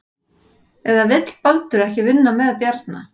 Eða vill Baldur ekki vinna með Bjarna?